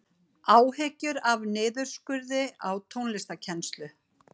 Áhyggjur af niðurskurði á tónlistarkennslu